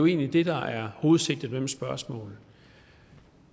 egentlig det der er hovedsigtet med mit spørgsmål